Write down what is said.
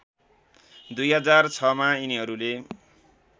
२००६ मा यिनीहरूले